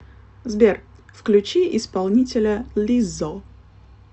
сбер включи исполнителя лиззо